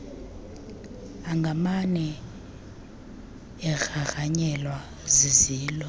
angamane egrangranyelwe zizilo